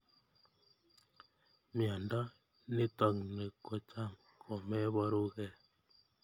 Miondo nitokni kocham komeporukei.